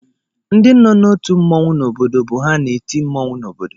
Ndị nọ n'otu mmọnwụ n'obodo bụ ha na-eti mmọnwụ n'obodo